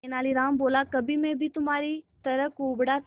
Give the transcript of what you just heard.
तेनालीराम बोला कभी मैं भी तुम्हारी तरह कुबड़ा था